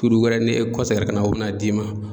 Turu wɛrɛ n'e kɔseginna ka na o be na d'i ma